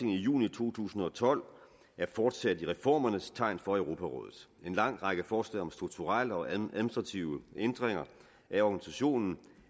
i juni to tusind og tolv er fortsat i reformernes tegn for europarådet en lang række forslag om strukturelle og administrative ændringer af organisationen